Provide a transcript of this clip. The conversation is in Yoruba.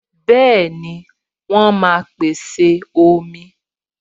Bẹẹni, wọn máa pèsè omi.